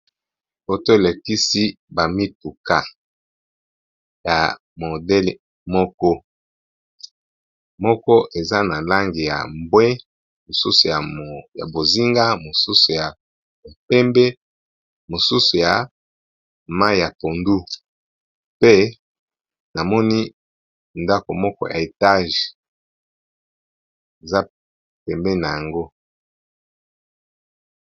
Photo e lakisi ba mituka ya modele moko, moko eza na langi ya mbwe, mosusu ya bozinga, mosusu ya pembe, mosusu ya mai ya pondu pe na moni ndaku moko ya etage eza pembeni na yango .